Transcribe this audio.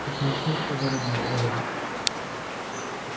как начнёт по дороге выдавать